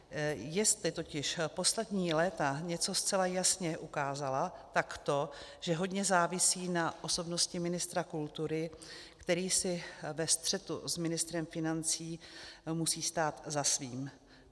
Jestli totiž poslední léta něco zcela jasně ukázala, tak to, že hodně závisí na osobnosti ministra kultury, který si ve střetu s ministrem financí musí stát za svým.